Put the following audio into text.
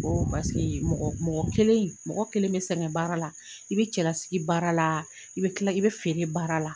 ko mɔgɔ mɔgɔ kelen mɔgɔ kelen bɛ sɛgɛn baara la, i bɛ cɛlasigi baara la, i bɛ kila, i bɛ feere baara la.